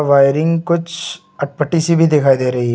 wiring कुछ अटपटी सी भी दिखाई दे रही --